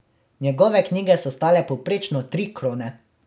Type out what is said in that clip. Njegove knjige so stale povprečno tri krone.